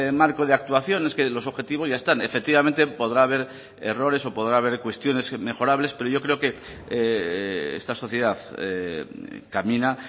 marco de actuación es que los objetivos ya están efectivamente podrá haber errores o podrá haber cuestiones mejorables pero yo creo que esta sociedad camina